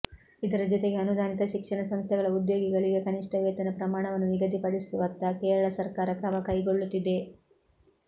ಇದರ ಜೊತೆಗೆ ಅನುದಾನಿತ ಶಿಕ್ಷಣ ಸಂಸ್ಥೆಗಳ ಉದ್ಯೋಗಿಗಳಿಗೆ ಕನಿಷ್ಠ ವೇತನ ಪ್ರಮಾಣವನ್ನು ನಿಗದಿಪಡಿಸುವತ್ತ ಕೇರಳ ಸರ್ಕಾರ ಕ್ರಮ ಕೈಗೊಳ್ಳುತ್ತಿದೆ